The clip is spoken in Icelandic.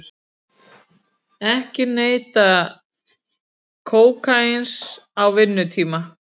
Ekki neyta kókaíns á vinnutíma